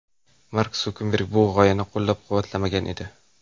Mark Sukerberg bu g‘oyani qo‘llab-quvvatlamagan edi.